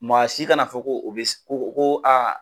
Maa si kana fɔ ko u bɛ ko ko